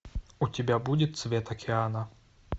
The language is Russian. у тебя будет цвет океана